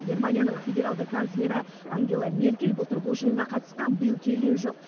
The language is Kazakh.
германияның федералды канцлері ангела меркель былтыр бұл жиынға қатысқан биыл келген жоқ